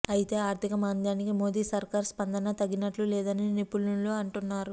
అయితే ఆర్ధికమాంద్యానికి మోదీ సర్కారు స్పందన తగినట్లు లేదని నిపుణులు అంటున్నారు